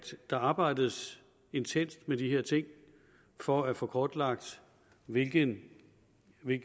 der arbejdes intenst med de her ting for at få kortlagt hvilken